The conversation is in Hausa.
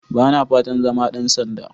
Ba na fatan zama ɗan sanda.